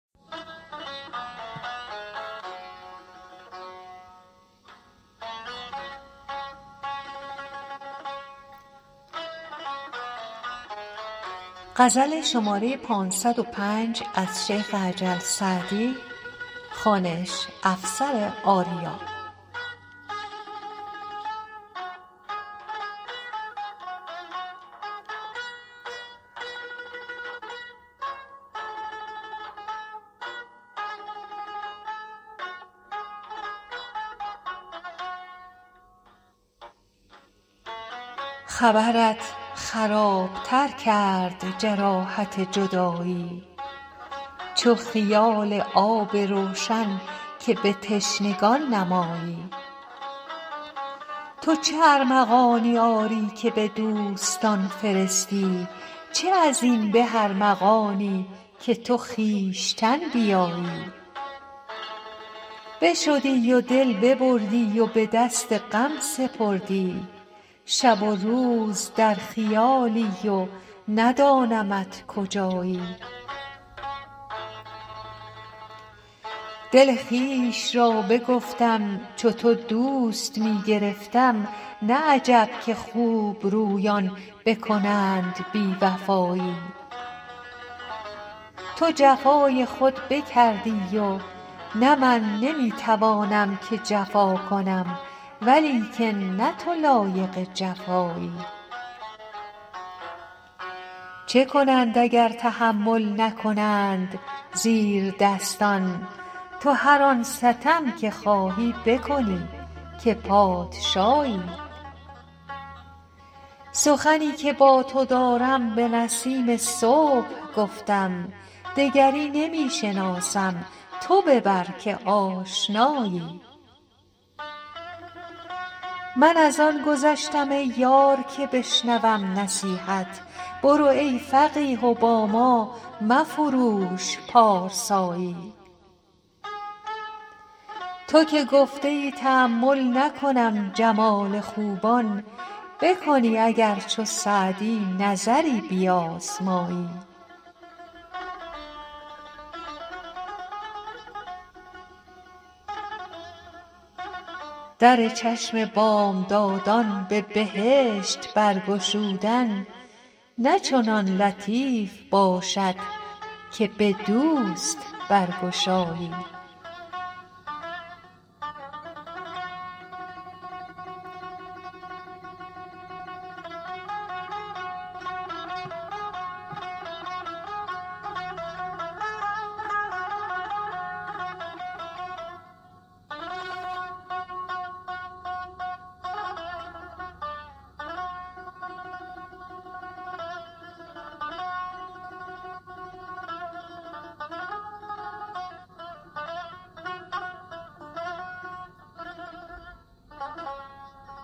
خبرت خراب تر کرد جراحت جدایی چو خیال آب روشن که به تشنگان نمایی تو چه ارمغانی آری که به دوستان فرستی چه از این به ارمغانی که تو خویشتن بیایی بشدی و دل ببردی و به دست غم سپردی شب و روز در خیالی و ندانمت کجایی دل خویش را بگفتم چو تو دوست می گرفتم نه عجب که خوبرویان بکنند بی وفایی تو جفای خود بکردی و نه من نمی توانم که جفا کنم ولیکن نه تو لایق جفایی چه کنند اگر تحمل نکنند زیردستان تو هر آن ستم که خواهی بکنی که پادشایی سخنی که با تو دارم به نسیم صبح گفتم دگری نمی شناسم تو ببر که آشنایی من از آن گذشتم ای یار که بشنوم نصیحت برو ای فقیه و با ما مفروش پارسایی تو که گفته ای تأمل نکنم جمال خوبان بکنی اگر چو سعدی نظری بیازمایی در چشم بامدادان به بهشت برگشودن نه چنان لطیف باشد که به دوست برگشایی